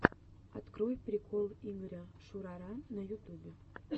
открой прикол игоря шурара на ютубе